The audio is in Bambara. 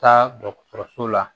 Taa dɔgɔtɔrɔso la